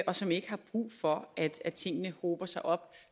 og som ikke har brug for at at tingene hober sig op